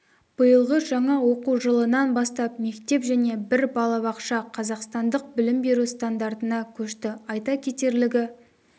биылғы жаңа оқу жылынан бастап мектеп және бір балабақша қазақстандық білім беру стандартына көшті айта кетерлігі